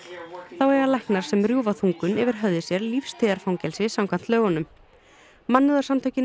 þá eiga læknar sem rjúfa þungun yfir höfði sér lífstíðarfangelsi samkvæmt lögunum